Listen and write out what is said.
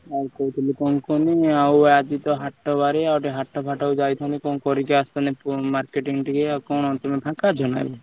ଆଉ କହୁଥିଲି କଣ କୁହନି ଆଉ ଆଜି ତ ହାଟ ବାରି ଆଉ ଟିକେ ହାଟ ଫାଟ ଜୁ ଯାଇଥାନ୍ତି କଣ କରିକି ଆସିଥାନ୍ତି marketing ଟିକେ ଆଉ କଣ ତମେ ଫାଙ୍କା ଅଛ ନାଁ ଏବେ?